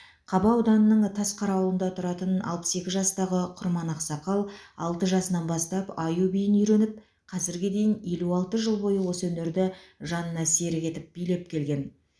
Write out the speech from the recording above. қаба ауданының тасқара ауылында тұратын алпыс екі жастағы құрман ақсақал алты жасынан бастап аю биін үйреніп қазірге дейін елу алты жыл бойы осы өнерді жанына серік етіп билеп келген